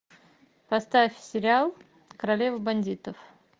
поставь сериал королева бандитов